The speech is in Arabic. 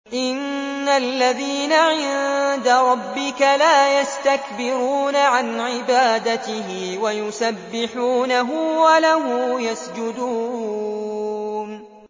إِنَّ الَّذِينَ عِندَ رَبِّكَ لَا يَسْتَكْبِرُونَ عَنْ عِبَادَتِهِ وَيُسَبِّحُونَهُ وَلَهُ يَسْجُدُونَ ۩